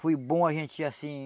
Foi bom a gente ir assim...